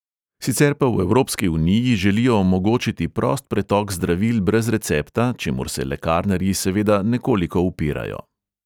Sicer pa v evropski uniji želijo omogočiti prost pretok zdravil brez recepta, čemur se lekarnarji seveda nekoliko upirajo.